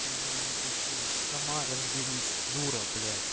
ты мне не пиши сама разберись дура блять